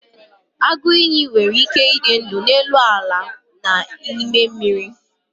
agụ iyi nwere ike ịdị ndụ n'elu ala na n'ime mmiri